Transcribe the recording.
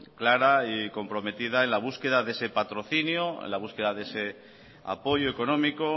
clara y comprometida en la búsqueda de ese patrocinio en la búsqueda de ese apoyo económico